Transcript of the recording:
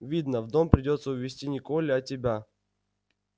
видно в дом придётся увести не колли а тебя